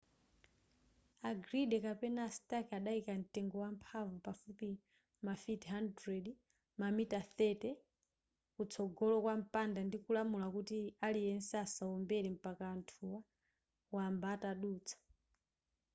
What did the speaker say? a gridley kapena a stark adayika mtengo wamphamvu pafupi mafiti 100 mamitala 30 kutsogolo kwa mpanda ndikulamula kuti aliyense asawombere mpaka anthuwa wamba atadutsa